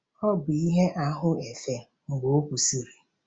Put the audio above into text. Ọ bụ ihe ahụ efe mgbe ọ kwụsịrị..